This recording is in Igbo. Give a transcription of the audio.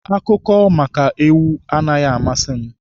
Akụkọ maka ewu anaghị amasị m.